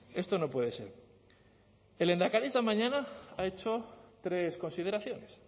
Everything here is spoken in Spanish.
esto no puede ser el lehendakari esta mañana ha hecho tres consideraciones